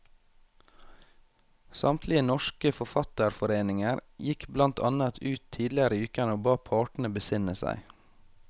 Samtlige norske forfatterforeninger gikk blant annet ut tidligere i uken og ba partene besinne seg.